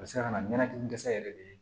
A bɛ se ka na ni dɛsɛ yɛrɛ de